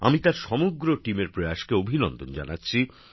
আমি তাঁর দলের সকল সদস্যদের প্রয়াসকে অভিনন্দন জানাচ্ছি